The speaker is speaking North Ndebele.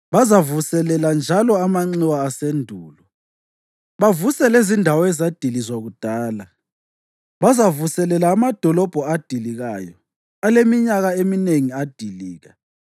Bazavuselela njalo amanxiwa asendulo bavuse lezindawo ezadilizwa kudala. Bazavuselela amadolobho adilikayo aleminyaka eminengi adilika.